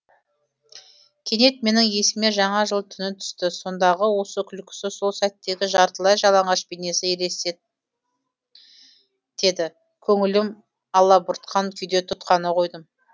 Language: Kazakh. кенет менің есіме жаңа жыл түні түсті сондағы осы күлкісі сол сәттегі жартылай жалаңаш бейнесі елестеді көңілім алабұртқан күйде тұтқаны қойдым